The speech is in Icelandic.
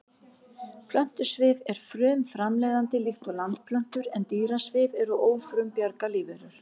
Plöntusvif er frumframleiðandi líkt og landplöntur en dýrasvif eru ófrumbjarga lífverur.